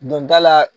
Donda la